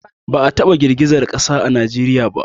Ba a taba girgizar ƙasa a Najeriya ba